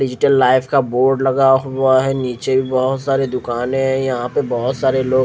digital life का board लगा हुआ है इनचे बोहोत साड़ी दूकान है यह पर बोहोत सारे लोग--